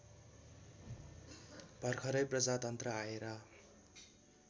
भर्खरै प्रजातन्त्र आएर